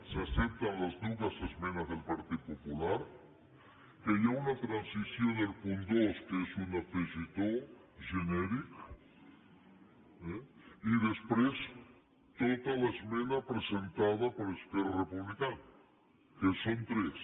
s’accepten les dues esmenes del partit popular que hi ha una transacció en el punt dos que és un afegitó genèric eh i després tota l’esmena presentada per esquerra republicana que són tres